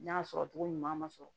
N'a sɔrɔ cogo ɲuman ma sɔrɔ